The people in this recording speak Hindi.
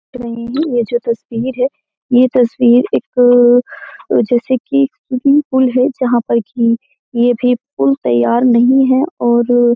देख रहे हैं यह जो तस्वीर है यह तस्वीर एक जैसे कि स्विमिंग पूल है जहाँ पर कि यह भी पुल तैयार नहीं है और --